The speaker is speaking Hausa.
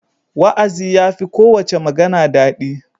Wa'azi ya fi kowace magana daɗi.